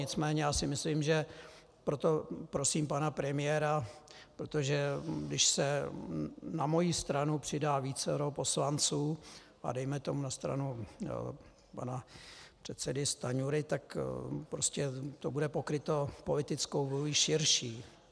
Nicméně já si myslím, že proto prosím pana premiéra, protože když se na moji stranu přidá vícero poslanců a dejme tomu na stranu pana předsedy Stanjury, tak prostě to bude pokryto politickou vůlí širší.